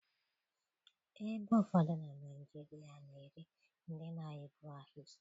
Ebe ụfọdụ na Naijiria na-eri ndị na-egbu ahịhịa